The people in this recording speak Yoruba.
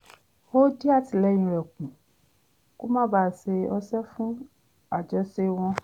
ó dín àtìlẹ́yìn rẹ̀ kù kó má bàa ṣe ọṣẹ́ fún àjọṣe wọn